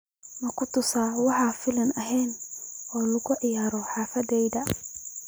Ma ku talisaa wax filim ah in lagu ciyaaro xaafadayda?